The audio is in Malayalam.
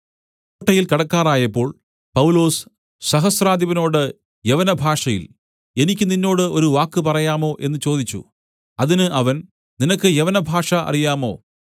കോട്ടയിൽ കടക്കാറായപ്പോൾ പൗലൊസ് സഹസ്രാധിപനോട് യവനഭാഷയിൽ എനിക്ക് നിന്നോട് ഒരു വാക്ക് പറയാമോ എന്നു ചോദിച്ചു അതിന് അവൻ നിനക്ക് യവനഭാഷ അറിയാമോ